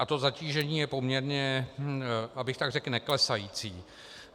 A to zatížení je poměrně, abych tak řekl, neklesající.